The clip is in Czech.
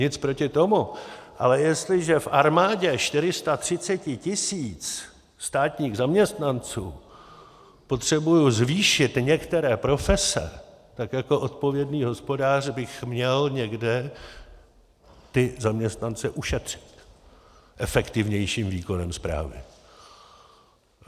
Nic proti tomu, ale jestliže v armádě 430 tisíc státních zaměstnanců potřebuji zvýšit některé profese, tak jako odpovědný hospodář bych měl někde ty zaměstnance ušetřit efektivnějším výkonem správy.